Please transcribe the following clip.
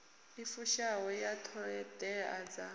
i fushaho ya ṱhoḓea dza